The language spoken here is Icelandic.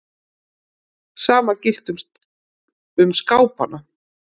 Sama gilti um skápana.